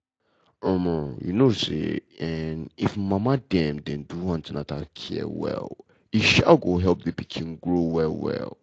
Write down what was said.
um you know say[um]if mama dem dey do an ten atal care well e um go help pikin grow well well.